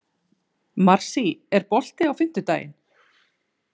Marsý, er bolti á fimmtudaginn?